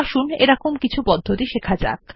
আসুন কিছু পদ্ধতি দেখা যাক